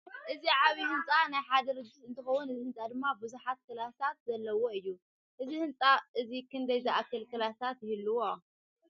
እዚ ዓብይ ህንፃ ናይ ሓደ ድርጅት እትከውን እዚ ህንፃ ድማ ቡዙሕ ክላሳት ዘለዎ እዩ። እዚ ህንፃ እዚ ክደይ ዝኣክል ክለሳት ይህልዎ?